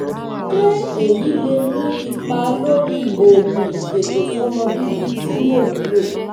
ṣé èyí lè ní ipa lórí oògùn ìfètòsọ́mọbíbí tí mò ń lò?